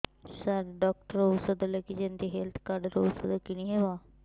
ସାର doctor ଔଷଧ ଲେଖିଛନ୍ତି health card ରୁ ଔଷଧ କିଣି ହେବ